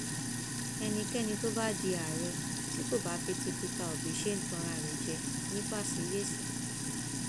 ẹnikẹni tó bá di àárẹ tí kò bá fi ti pété obi ṣe ń tanra rẹ jẹ nifásiyèsè